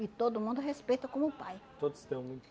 E todo mundo respeita como pai. Todos tem algum